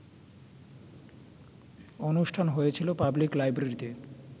অনুষ্ঠান হয়েছিল পাবলিক লাইব্রেরিতে